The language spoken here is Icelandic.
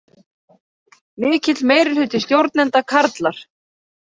Mikill meirihluti stjórnenda karlar